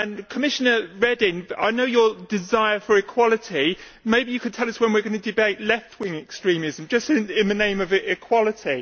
Commissioner Reding, I know your desire for equality, maybe you can tell us when we are going to debate left wing' extremism, just in the name of equality.